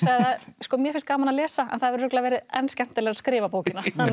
mér fannst gaman að lesa en það hefur örugglega verið enn skemmtilegra að skrifa bókina